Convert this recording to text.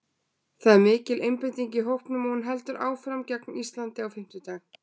Það er mikil einbeiting í hópnum og hún heldur áfram gegn Íslandi á fimmtudag.